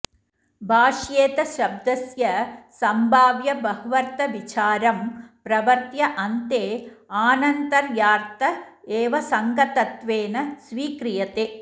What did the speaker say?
भाष्येऽथशब्दस्य सम्भाव्यबह्वर्थविचारं प्रवर्त्य अन्ते आनन्तर्यार्थ एव सङ्गतत्वेन स्वीक्रियते